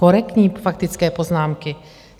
Korektní faktické poznámky.